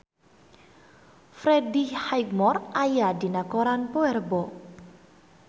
Freddie Highmore aya dina koran poe Rebo